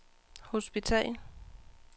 hospital